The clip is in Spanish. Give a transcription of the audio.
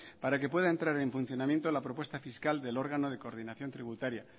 para que puedan entrar en funcionamiento la propuesta fiscal del órgano de coordinación tributaria